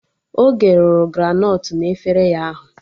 Oge rụrụ granọt na E-fraya ahụ